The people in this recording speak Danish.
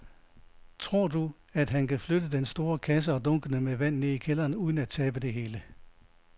Tror du, at han kan flytte den store kasse og dunkene med vand ned i kælderen uden at tabe det hele?